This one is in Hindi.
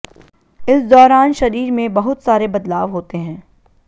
इस दौरान शरीर में बहुत सारे बदलाव होते हैं